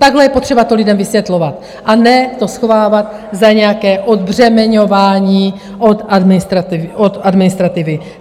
Takhle je potřeba to lidem vysvětlovat, a ne to schovávat za nějaké odbřemeňování od administrativy.